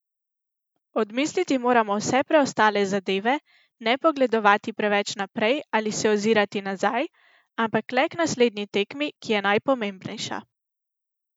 Odmisliti moramo vse preostale zadeve, ne pogledovati predaleč naprej ali se ozirati nazaj, ampak le k naslednji tekmi, ki je najpomembnejša.